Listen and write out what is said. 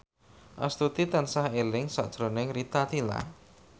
Astuti tansah eling sakjroning Rita Tila